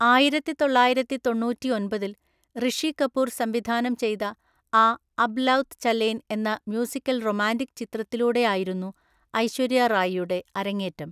ആയിരത്തിതൊള്ളായിരത്തിതൊണ്ണൂറ്റിഒന്‍പതില്‍ റിഷി കപൂർ സംവിധാനം ചെയ്ത ആ അബ് ലൌത് ചലേൻ എന്ന മ്യൂസിക്കൽ റൊമാന്റിക് ചിത്രത്തിലൂടെയായിരുന്നു ഐശ്വര്യ റായിയുടെ അരങ്ങേറ്റം.